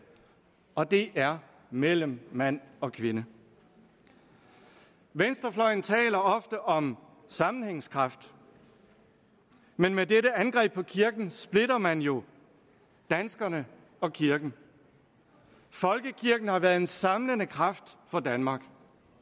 og det er mellem mand og kvinde venstrefløjen taler ofte om sammenhængskraft men med dette angreb på kirken splitter man jo danskerne og kirken folkekirken har været en samlende kraft for danmark